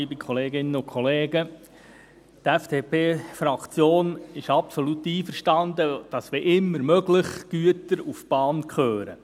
Die FDP-Fraktion ist absolut einverstanden, dass – wenn immer möglich – die Güter auf die Bahn gehören.